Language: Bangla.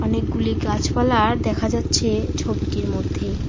অনেকগুলি গাছপালার দেখা যাচ্ছে ছবিটির মধ্যে।